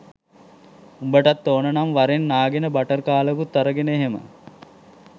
උඹටත් ඕනනම් වරෙන් නාගෙන බටර් කාලකුත් අරගෙන එහෙම